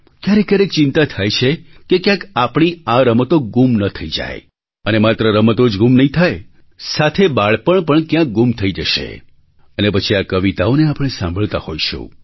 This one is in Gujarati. ક્યારેક ક્યારેક ચિંતા થાય છે કે ક્યાંક આપણી આ રમતો ગૂમ ન થઈ જાય અને માત્ર રમતો જ ગૂમ નહીં થાય સાથે બાળપણ પણ ક્યાંક ગૂમ થઈ જશે અને પછી આ કવિતાઓને આપણે સાંભળતા હોઈશું